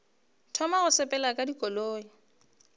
thoma go sepela ka dikoloi